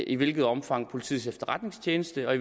i hvilket omfang politiets efterretningstjeneste og